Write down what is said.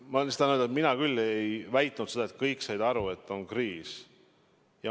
Ma lihtsalt tahan öelda, et mina küll ei väitnud seda, et kõik said aru, et on kriis.